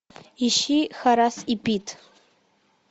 ищи хорас и пит